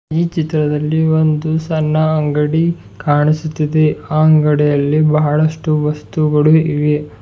ಈ ಚಿತ್ರದಲ್ಲಿ ಒಂದು ಸಣ್ಣ ಅಂಗಡಿ ಕಾಣಿಸುತ್ತದೆ ಅಂಗಡಿಯಲ್ಲಿ ಬಹಳಷ್ಟು ವಸ್ತುಗಳು ಇವೆ.